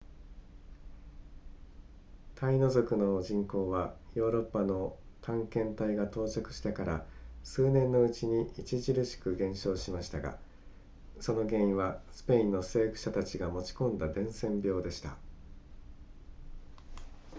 タイノ族の人口はヨーロッパの探検隊が到着してから数年のうちに著しく減少しましたがその原因はスペインの征服者たちが持ち込んだ伝染病でした